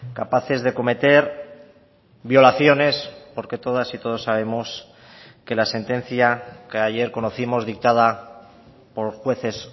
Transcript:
capaces de cometer violaciones porque todas y todos sabemos que la sentencia que ayer conocimos dictada por jueces